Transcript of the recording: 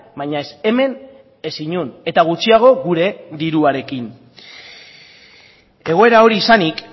baina ez hemen ez inon eta gutxiago gure diruarekin egoera hori izanik